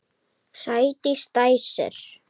Sædís dæsir.